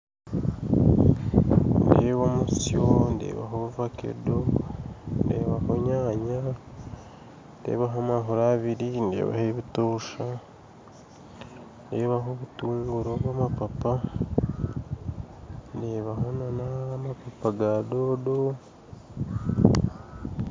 Nindeeba omutsyo ndebaho vakedo ndebaho enyaanya ndebaho amahuri abiri ndebaho ebitosha ndebaho obutunguru obw'amapapa ndebaho n'amapapa ga doodo.